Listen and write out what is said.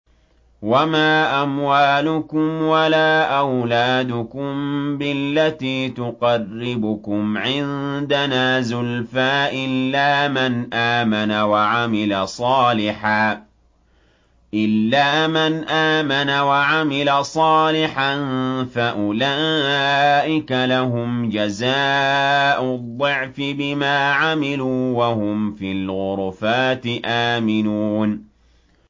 وَمَا أَمْوَالُكُمْ وَلَا أَوْلَادُكُم بِالَّتِي تُقَرِّبُكُمْ عِندَنَا زُلْفَىٰ إِلَّا مَنْ آمَنَ وَعَمِلَ صَالِحًا فَأُولَٰئِكَ لَهُمْ جَزَاءُ الضِّعْفِ بِمَا عَمِلُوا وَهُمْ فِي الْغُرُفَاتِ آمِنُونَ